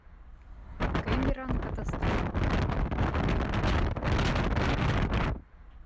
кэмерон катастрофа